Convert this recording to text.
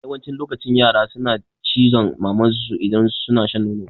Yawancin lokaci yara suna cizon mamar su idan suna shan nono